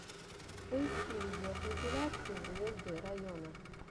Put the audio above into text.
поищи видеокомпиляции звезды района